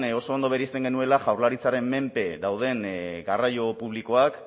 oso ondo bereizten genuela jaurlaritzaren menpe dauden garraio publikoak